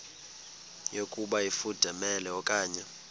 yokuba ifudumele okanye